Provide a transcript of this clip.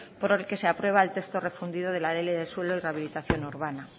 por el que se aprueba el texto refundido de la ley del suelo y rehabilitación urbana